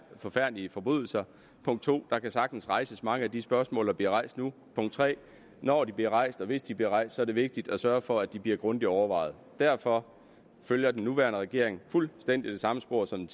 forfærdelige forbrydelser punkt 2 der kan sagtens rejses mange af de spørgsmål der bliver rejst nu punkt 3 når de bliver rejst og hvis de bliver rejst er det vigtigt at sørge for at de bliver grundigt overvejet derfor følger den nuværende regering fuldstændig det samme spor som